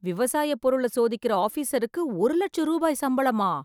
விவசாய பொருள சோதிக்கிற ஆஃபீஸருக்கு ஒரு லட்ச ரூபாய் சம்பளமா ?